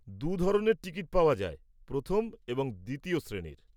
দু ধরনের টিকিট পাওয়া যায়, প্রথম এবং দ্বিতীয় শ্রেণীর।